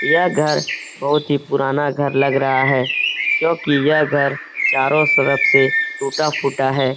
यह घर बहुत ही पुराना घर लग रहा है क्योंकि यह घर चारों तरफ से टूट-फूटा है।